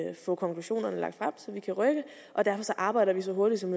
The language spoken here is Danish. få konklusionerne lagt frem så vi kan rykke og derfor arbejder vi så hurtigt som